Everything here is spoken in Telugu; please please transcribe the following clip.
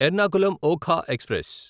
ఎర్నాకులం ఒఖా ఎక్స్ప్రెస్